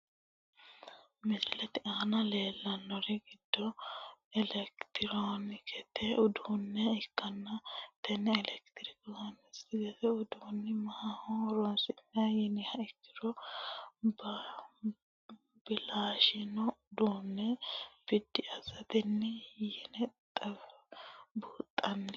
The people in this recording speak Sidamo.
Misilete aana leelani noori giddo electronksete uduune ikkana tene electronksete uduune maaho horonsinani yiniha ikiro balashaino uduune bidi asateeti yone buunxani.